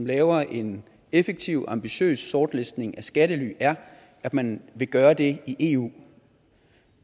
lave en effektiv ambitiøs sortlistning af skattely er at man vil gøre det i eu